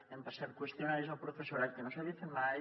hem passat qüestionaris al professorat que no s’havien fet mai